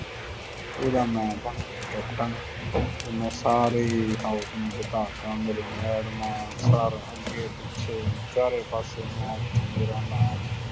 ਉਹਦਾ ਮੈਂ ਬਣ ਗਿਆ ਕੈਪਟਨ ਅਤੇ ਮੈਂ ਸਾਰੇ ਹੀ house ਨੂੰ ਜਿੱਤਾ ਤਾ, ਮੇਰੀਆਂ ਮੈਡਮਾਂ sir ਅੱਗੇ ਪਿੱਛੇ ਚਾਰੇ ਪਾਸਿਉਂ ਮੈਂ ਅਤੇ ਮੇਰਾ ਨਾਮ,